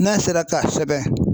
N'a sera ka sɛbɛn